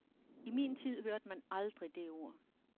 I min tid hørte man aldrig det ord.